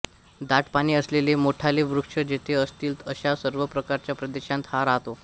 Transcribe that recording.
दाट पाने असलेले मोठाले वृक्ष जेथे असतील अशा सर्व प्रकारच्या प्रदेशांत हा राहतो